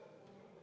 Vaheaeg on läbi.